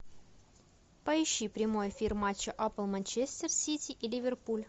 поищи прямой эфир матча апл манчестер сити и ливерпуль